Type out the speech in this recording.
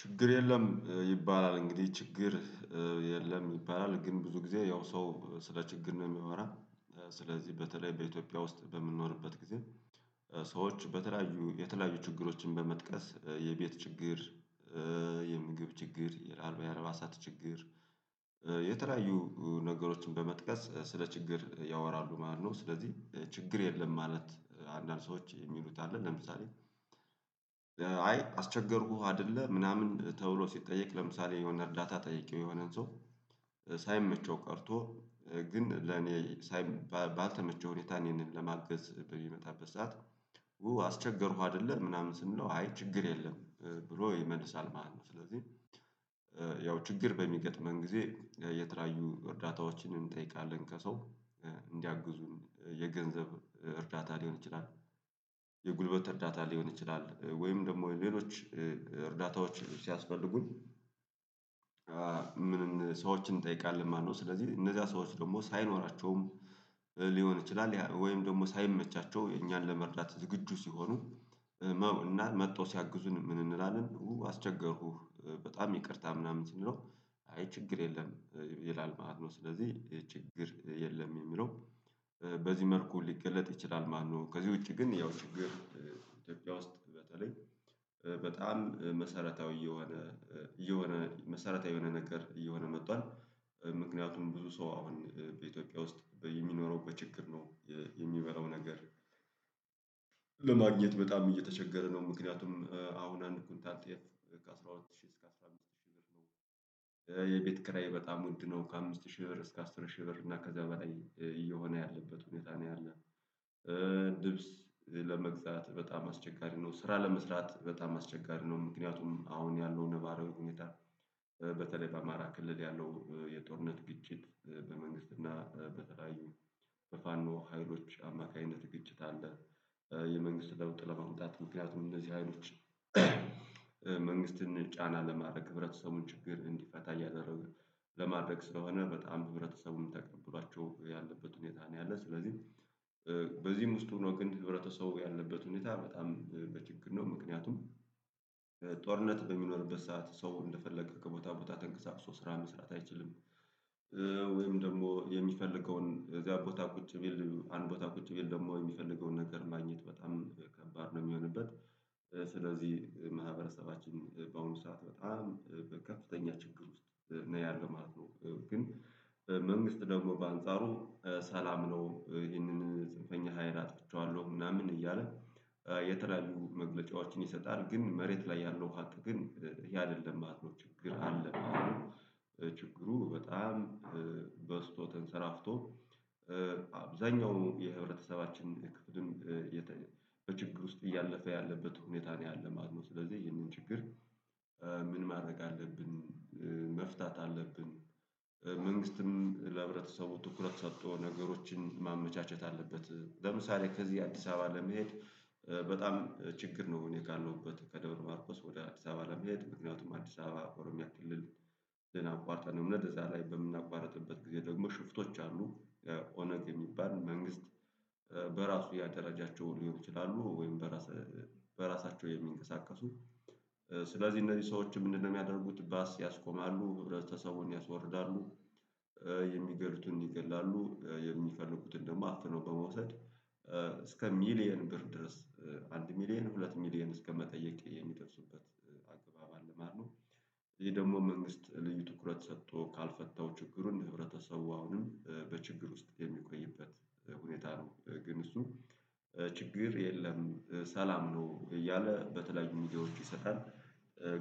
ችግር የለም ይባላል እንግዲህ ችግር የለም ይባላል። ግን ብዙ ጊዜ ያው ሰው ስለ ችግር ነው የሚያወራ ስለዚህ በተለይ በኢትዮጵያ ውስጥ በምንኖርበት ጊዜ ሰዎች በተለያዩ የተለያዩ ችግሮችን በመጥቀስ የቤት ችግር የምግብ ችግር የላሉ የአልባሳት ችግር የተለያዩ ነገሮችን በመጥቀስ ስለ ችግር ያወራሉ ማለት ነው። ስለዚህ ችግር የለም ማለት አንዳንድ ሰዎች የሚሉት አሉ። ለምሳሌ አይ አስቸገርኩህ አይደለ ምናምን ተውሎ ሲጠየቅ ለምሳሌ የሆነ እርዳታ ጠይቄው የሆነን ሰው ሳይመቸው ቀርቶ ግን ለኔ ሳይ ባልተመቸ ሁኔታ እኔን ለማገዝ በሚመጣበት ሰዓት አስቸገርኩ አይደለ ምናምን ስንለው አይ ችግር የለም ብሎ ይመልሳል ማለት ነው። ስለዚህ ያው ችግር በሚገጥመን ጊዜ የተለያዩ እርዳታዎችንን እንጠይቃለን ከሰው እንዲያግዙን የገንዘብ እርዳታ ሊሆን ይችላል። የጉልበት እርዳታ ሊሆን ይችላል ወይም ደግሞ ሌሎች እርዳታዎች ሲያስፈልጉን። ምንም ሰዎችን እንጠይቃለን ማለትነው። ስለዚህ እነዚያ ሰዎች ደግሞ ሳይኖራቸውም ሊሆን ይችላል ወይም ደግሞ ሳይመቻቸው እኛን ለመርዳት ዝግጁ ሲሆኑ እና መጥተው ሲያግዙን ምን እንላለን አስቸገርኩህ በጣም ይቅርታ ምናምን ስንለው አይ ችግር የለም ይላል ማለት ነው። ስለዚህ ችግር የለም የሚለው በዚህ መልኩ ሊገለጥ ይችላል ማለት ነው። ከዚህ ውጪ ግን ያው ችግር ኢትዮጵያ ውስጥ በተለይ በጣም መሰረታዊ የሆነ የሆነ መሰረታዊ የሆነ ነገር እየሆነ መጥቷል። ምክንያቱም ብዙ ሰው አሁን በኢትዮጵያ ውስጥ የሚኖረው በችግር ነው። የሚበላው ነገር ለማግኘት በጣም እየተቸገረ ነው። ምክንያቱም አሁን አንድ ኩንታል ጤፍ አስራ አራት ሺህ እስከ አስራ አምስት ሺህ ነው። የቤት ኪራይ በጣም ውድ ነው ከአምስት ሺህ ብር እስከ አስር ሺህ ብር እና ከዛ በላይ እየሆነ ያለበት ሁኔታ ነው ያለው። ልብስ ለመግዛት በጣም አስቸጋሪ ነው። ስራ ለመስራት በጣም አስቸጋሪ ነው። ምክንያቱም አሁን ያለው ነባራዊ ሁኔታ በተለይ በአማራ ክልል ያለው የጦርነት ግጭት በመንግስት እና በተለያዩ በፋኖ ሀይሎች አማካኝነት ግጭት አለ። የመንግስት ለውጥ ለማምጣት ምክንያቱም እነዚህ ሀይሎች መንግስትን ጫና ለማድረግ የህብረተሰቡን ችግር እንዲፈታ እያደረገ ለማድረግ ስለሆነ በጣም በህብረተሰቡም ተቀብሏቸው ያለበት ሁኔታ ነው። ያለው ስለዚህ በዚህም ውስጥ ሆኖ ግን ህብረተሰቡ ያለበት ሁኔታ በጣም በችግር ነው ምክንያቱም ጦርነት በሚኖርበት ሰዓት ሰው እንደፈለገ ከቦታ ቦታ ተንቀሳቅሶ ስራ መስራት አይችልም። ወይም ደግሞ የሚፈልገውን እዳር ቦታ ቁጭ ቢል አንድ ቦታ ቁጭ ቢል ደግሞ የሚፈልገውን ነገር ማግኘት በጣም ከባድ ነው የሚሆንበት። ስለዚህ ማህበረሰባችን በአሁኑ ሰዓት በጣም በከፍተኛ ችግር ውስጥ ነው ያለው ማለት ነው። ግን መንግስት ደግሞ በአንጻሩ ሰላም ነው ይሄንን ጽንፈኛ ሀይል አጥቼዋለሁ ምናምን እያለ የተለያዩ መግለጫዎችን ይሰጣል ግን መሬት ላይ ያለው ሃቅ ግን ይሄ አይደለም ማለት ነው። ችግር አለ። ችግሩ በጣም በዝቶ ተንሰራፍቶ አብዛኛው የህብረተሰባችን ክፍልም በችግር ውስጥ እያለፈ ያለበት ሁኔታ ነው ያለ ማለትነው። ስለዚህ የህንን ችግር ምን ማድረግ አለብን? መፍታት አለብን። መንግስትም ለህብረተሰቡ ትኩረት ሰጥቶ ነገሮችን ማመቻቸት አለበት። ለምሳሌ ከዚህ አዲስ አበባ ለመሄድ በጣም ችግር ነው። እኔ ካልነውበት ከደብረ ማርኮስ ወደ አዲስ አበባ ለመሄድ ምክንያቱም አዲስ አበባ ኦሮሚያ ክልልን አቋርጠን ነው እምንሄድ እዛ ላይ በምናቋርጥበት ጊዜ ደግሞ ሽፍቶች አሉ። ኦነግ የሚባል መንግስት በራሱ ያደረጃቸውን ሊሆን ይችላሉ። ወይም በራስ በራሳቸው የሚንቀሳቀሱ ስለዚህ እነዚህ ሰዎች ምንድነው የሚያደርጉት? ባስ ያስቆማሉ ህብረተሰቡን ያስወርዳሉ። የሚገሉትን ይገላሉ የሚፈልጉትን ደግሞ አፍነው በመውሰድ እስከ ሚሊየን ብር ድረስ አንድ ሚሊየን ሁለት ሚሊየን እስከመጠየቅ የሚደርሱበት አግባብ አለ ማለት ነው። ይሄ ደግሞ መንግስት ልዩ ትኩረት ሰጥቶ ካልፈታው ችግሩን ህብረተሰቡ አሁንም በችግር ውስጥ የሚቆይበት ሁኔታ ነው። ግን እሱ ችግር የለም ሰላም ነው እያለ በተለይ ሚዲያዎች ይሰጣል።